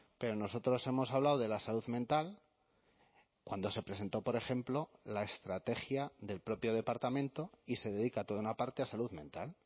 pero nosotros hemos hablado de la salud mental cuando se presentó por ejemplo la estrategia del propio departamento y se dedica toda una parte a salud mental